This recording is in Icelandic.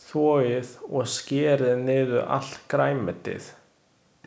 Þvoið og skerið niður allt grænmetið.